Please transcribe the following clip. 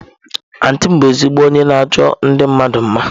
Antị m bu ezigbo onye na-achọ ndi mmadu mma.